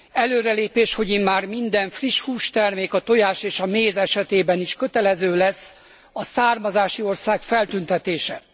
Előrelépés, hogy immár minden friss hústermék, a tojás és a méz esetében is kötelező lesz a származási ország feltüntetése.